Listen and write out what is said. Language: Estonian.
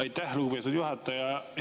Aitäh, lugupeetud juhataja!